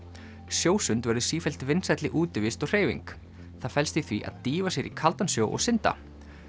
sjósund verður sífellt vinsælli útivist og hreyfing það felst í því að dýfa sér í kaldan sjó og synda